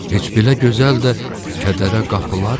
Heç belə gözəl də kədərə qapılarmı?